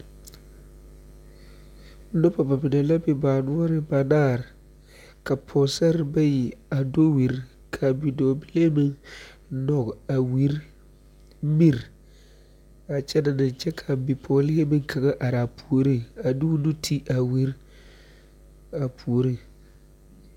Noba mine la baa noɔriŋ banaare ka pɔgesaraa bayi a do wiri ka nɔg a wiri miri a kyɛnɛ ne kyɛ ka a bipɔgelee meŋ kaŋa are a puoriŋ a de o nu ti a wiri a puoriŋ.